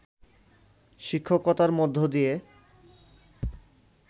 শিক্ষকতার মধ্য দিয়ে